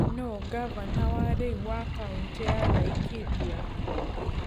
Nũũ ngavana wa rĩu wa kaũntĩ ya Laikipia?